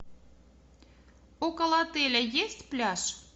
около отеля есть пляж